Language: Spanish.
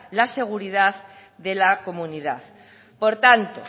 la seguridad de las comunidad por tanto